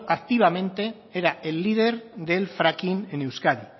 activamente era el líder del fracking en euskadi